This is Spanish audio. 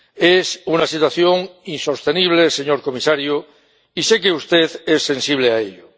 Es una situación insostenible, señor comisario, y sé que usted es sensible a ello.